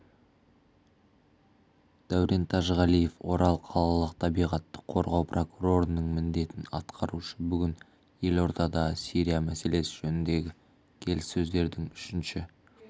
дәурен тәжіғалиев орал қалалық табиғатты қорғау прокурорының міндетін атқарушы бүгін елордада сирия мәселесі жөніндегі келіссөздердің үшінші